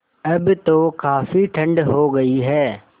अब तो काफ़ी ठण्ड हो गयी है